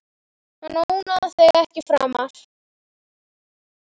Hann ónáðar þig ekki framar.